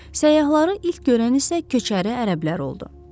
Səyyahları ilk görən isə köçəri ərəblər oldu.